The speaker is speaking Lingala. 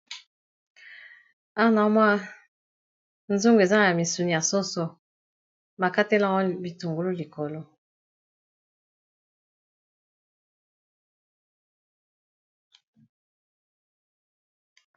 Awa, nazo mona nzungu, eza na misuni ya soso. Ba kateli yango bitungolo likolo.